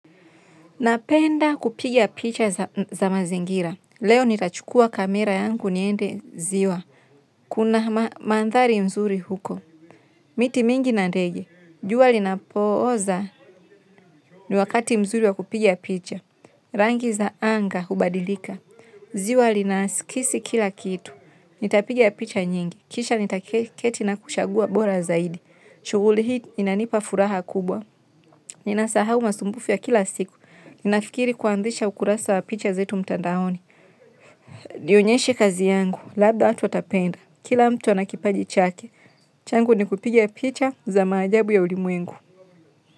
Napenda kupiga picha za mazingira, leo nitachukua kamera yangu niende ziwa, kuna mandhari mzuri huko, miti mingi na ndege, jua linapooza ni wakati mzuri wa kupigia picha, rangi za anga hubadilika, ziwa linaskisi kila kitu, nitapiga picha nyingi, kisha nitaketi na kuchagua bora zaidi, shuguli hii inanipa furaha kubwa, ninasahau masumbufu ya kila siku. Ninafikiri kuanzisha ukurasa wa picha zetu mtandaoni. Nionyeshe kazi yangu. Labda eatu watapenda. Kila mtu ana kipaji chake. Changu ni kupiga picha za maajabu ya ulimwengu.